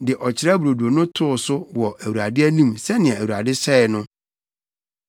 de Ɔkyerɛ Brodo no too so wɔ Awurade anim sɛnea Awurade hyɛe no.